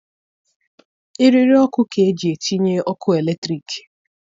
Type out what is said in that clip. Eriri ọkụ ka eji etinye ọkụ eletrik.